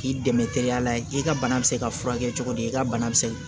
K'i dɛmɛ teliya la i ka bana bɛ se k'a furakɛ cogo di i ka bana bɛ se